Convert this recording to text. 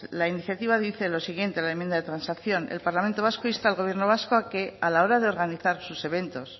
la iniciativa dice lo siguiente en la enmienda de transacción el parlamento vasco insta al gobierno vasco a que a la hora de organizar sus eventos